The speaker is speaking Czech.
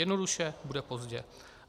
Jednoduše bude pozdě.